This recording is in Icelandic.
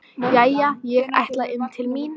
Jæja, ég ætla inn til mín.